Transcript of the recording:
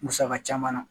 Musaka caman na